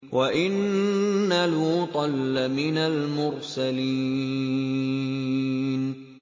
وَإِنَّ لُوطًا لَّمِنَ الْمُرْسَلِينَ